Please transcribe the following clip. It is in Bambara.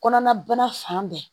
Kɔnɔna bana fan bɛɛ